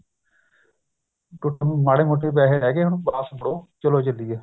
ਕੁੱਛ ਨਹੀਂ ਮਾੜੇ ਮੋਟੇ ਪੈਸੇ ਰਹਿ ਗਏ ਹੁਣ ਵਾਪਸ ਮੁੜੋ ਚਲੋ ਚਲੀਏ